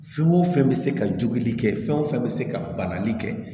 Fɛn o fɛn bɛ se ka joli kɛ fɛn o fɛn bɛ se ka banali kɛ